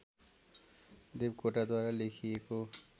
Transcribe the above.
देवकोटाद्वारा लेखिएको